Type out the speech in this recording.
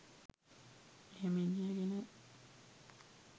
එහෙම ඉගෙනගෙන